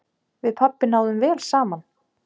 Við pabbi náðum vel saman.